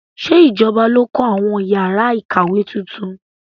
Ṣé ìjọba ló kọ àwọn yàrá ìkàwé tuntun?